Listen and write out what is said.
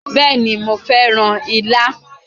Bẹ́ẹ̀ni, mo fẹ́ràn á ilá.